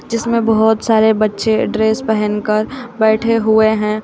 जिसमें बहोत सारे बच्चे ड्रेस पहन कर बैठे हुए हैं।